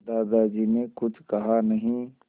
दादाजी ने कुछ कहा नहीं